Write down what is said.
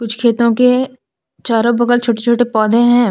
कुछ खेतों के चारो बगल छोटे छोटे पौधे हैं।